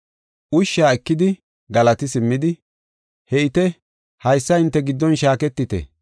Ushshaa ekidi galati simmidi, “He7ite haysa hinte giddon shaaketite.